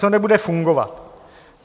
Co nebude fungovat?